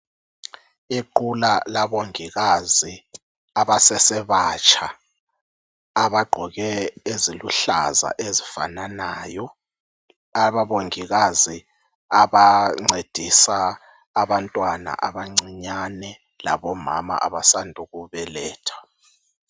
Iqula labongikazi abasesebatsha abagqoke eziluhlaza ezifananayo. Aba abongikazi abancedisa abantwana abancinyane labomama abasandukubeletha